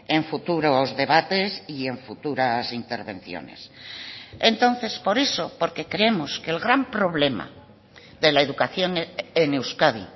en futuros debates y en futuras intervenciones entonces por eso porque creemos que el gran problema de la educación en euskadi